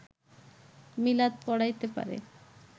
মিলাদ পড়াইতে পারে